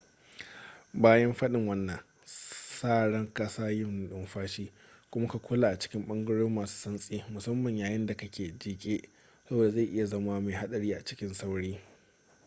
bayan fadin wannan sa ran kasa yin numfashi kuma ka kula a cikin bangarori masu santsi musamman yayin da ka ke jike saboda zai iya zama mai haɗari cikin sauri